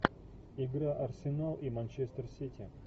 игра арсенал и манчестер сити